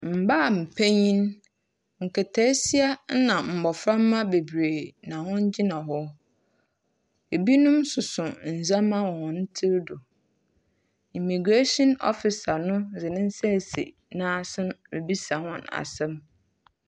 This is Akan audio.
Mbaapanyin, nkataasia na mboframba beberee na wogyina hɔ. binom soso ndzɛmba wɔ hɔn tsir do. Immigration officer no dze ne nsa esi n’asen ribisa hɔn asɛm.